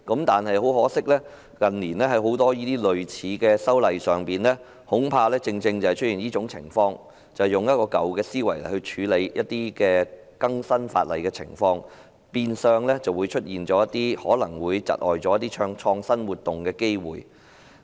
但是，很可惜，近年很多類似的法例修訂正正出現這種情況，便是用舊思維來更新法例，變相出現可能窒礙創新活動的機會。